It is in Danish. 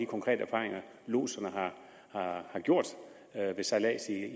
konkrete erfaringer lodserne har gjort ved sejlads